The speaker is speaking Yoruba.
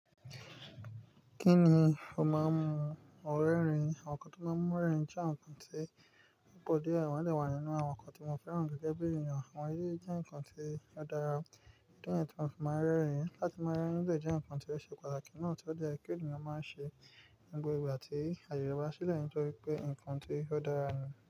Kí ni o máa ń mu? Ò rẹ́rìn. Àwọn nǹkan tó máa ń mú rẹ́rìn jẹ́ àwọn nǹkan tí gbogbo ọdọ ẹ̀wọ̀n lè wà nínú àwọn nǹkan tí wọ́n fẹ́ràn gẹ́gẹ́ bí ènìyàn. Àwọn yí jẹ́ nǹkan tí ó dára. Ó jẹ́ àwọn nkan tí mọ́n fi máa ń rẹ́rìn. Láti máa rẹ́rìn, ó jẹ́ nǹkan tí ó ṣe pàtàkì náà tí ó jẹ́ kí ènìyàn máa ṣe nígbà gbogbo àti àyebasi sílẹ̀ nítorí pé nǹkan tí ó dára nìyẹn.